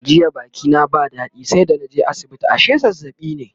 jiya Baki na ba dadi sai da naje asibiti ashe zazzaɓi ne